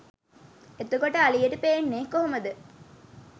එතකොට අලියට පේන්නෙ කොහොමද